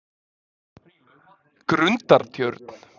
Grundartjörn